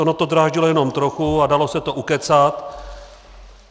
Ono to dráždilo jenom trochu a dalo se to ukecat.